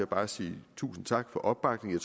bare sige tusind tak for opbakningen